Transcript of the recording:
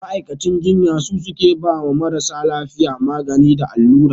Ma'aikacin jinya su suke ba marasa lafiya magani da allura